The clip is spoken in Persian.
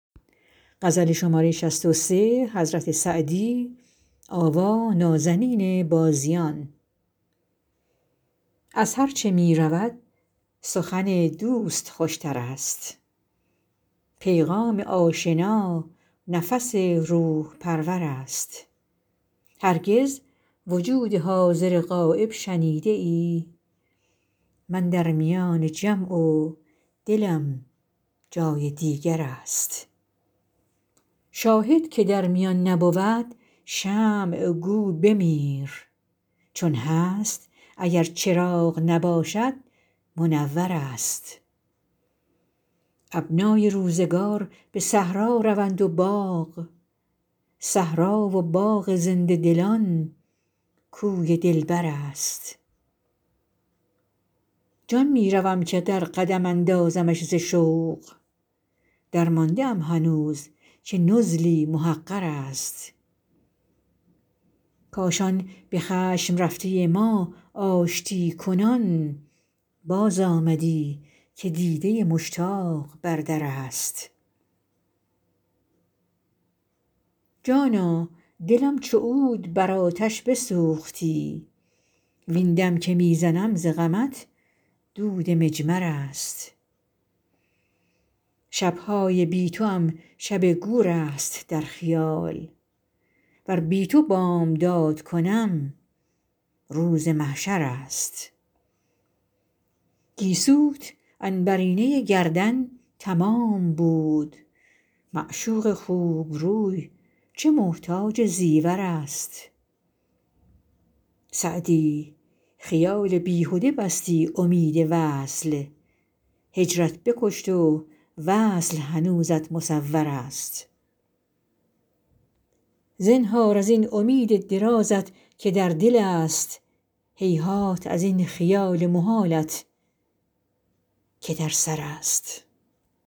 از هرچه می رود سخن دوست خوش تر است پیغام آشنا نفس روح پرور است هرگز وجود حاضر غایب شنیده ای من در میان جمع و دلم جای دیگر است شاهد که در میان نبود شمع گو بمیر چون هست اگر چراغ نباشد منور است ابنای روزگار به صحرا روند و باغ صحرا و باغ زنده دلان کوی دلبر است جان می روم که در قدم اندازمش ز شوق درمانده ام هنوز که نزلی محقر است کاش آن به خشم رفته ما آشتی کنان بازآمدی که دیده مشتاق بر در است جانا دلم چو عود بر آتش بسوختی وین دم که می زنم ز غمت دود مجمر است شب های بی توام شب گور است در خیال ور بی تو بامداد کنم روز محشر است گیسوت عنبرینه گردن تمام بود معشوق خوب روی چه محتاج زیور است سعدی خیال بیهده بستی امید وصل هجرت بکشت و وصل هنوزت مصور است زنهار از این امید درازت که در دل است هیهات از این خیال محالت که در سر است